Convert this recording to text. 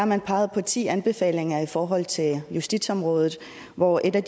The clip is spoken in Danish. man peget på ti anbefalinger i forhold til justitsområdet hvor en af